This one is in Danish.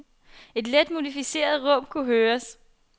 Et let modificeret råb kunne høres.